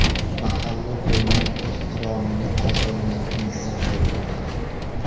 Mahalla-ko‘yning ehtiromini qozongan inson bo‘lganlar.